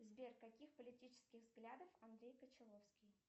сбер каких политических взглядов андрей кончаловский